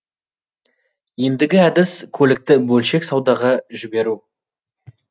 ендігі әдіс көлікті бөлшек саудаға жіберу